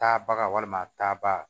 Taa baga walima taa ba